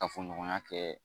Kafoɲɔgɔnya kɛ